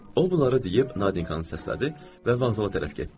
O bunları deyib Nadinqanı səslədi və vanzala tərəf getdi.